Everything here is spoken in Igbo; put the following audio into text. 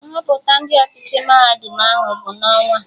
Nhọpụta Ndị ọchịchị mahadum ahụ bụ n'ọnwaa